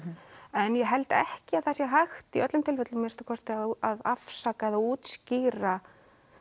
en ég held ekki að það sé hægt í öllum tilfellum að minnsta kosti að afsaka eða útskýra